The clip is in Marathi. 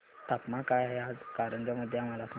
तापमान काय आहे आज कारंजा मध्ये मला सांगा